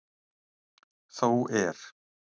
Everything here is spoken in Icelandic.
Þó er.